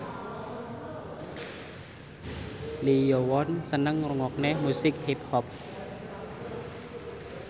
Lee Yo Won seneng ngrungokne musik hip hop